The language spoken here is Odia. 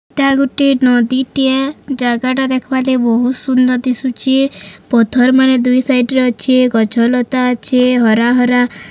ଟା ଗୁଟେ ନଦୀଟିଏ ଜାଗାଟା ଦେଖବା ଲାଗି ବହୁତ୍ ସୁନ୍ଦର ଦିଶୁଚି ପଥର ମାନେ ଦୁଇ ସାଇଟ୍ ଅଛି ଗଛ ଲତା ଅଛି ହରା ହରା --